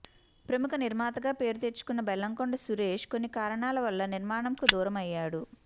ప్రముఖ నిర్మాతగా పేరు తెచ్చుకున్న బెల్లంకొండ సురేష్ కొన్ని కారణాల వల్ల నిర్మాణంకు దూరం అయ్యాడు